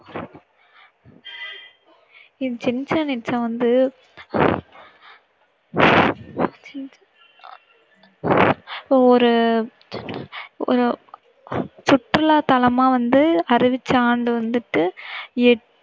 Chichen Itza வந்து ஒரு, ஒரு சுற்றுலாத்தலமா வந்து அறிவிச்ச ஆண்டு வந்துட்டு எ~